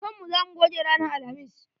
Da kan mu za mu goge ranan alhamis.